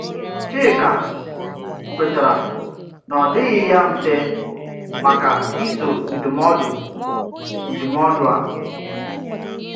Chíka kwètàrà na ọ́ dịghị ya mfe maka iso ndụmọdụ ndụmọdụ a,